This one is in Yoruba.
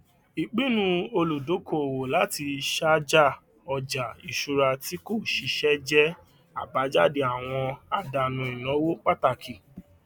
ìpinnu olùdókòowó láti ṣàjà ọja iṣùrà tí kò ṣiṣẹ jẹ abájáde àwọn àdánù ìnáwó pàtàkì